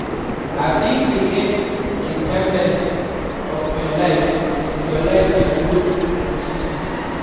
I fit create a timeline of my life to visualize my growth and changes.